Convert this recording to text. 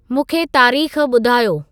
मूंखे तारीख़ ॿुधायो